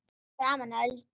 Fyrir framan Öldu.